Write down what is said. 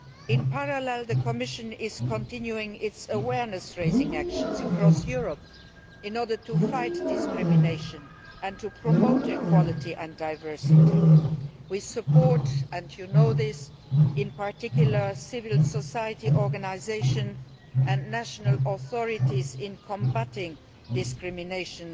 In parallel, the Commission is continuing its awareness raising actions across Europe in order to fight discrimination and to promote equality and diversity. In particular, as you know, we support civil society organisations and national authorities in combating discrimination